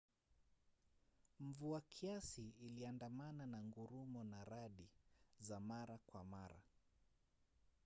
mvua kiasi iliandamana na ngurumo na radi za mara kwa mara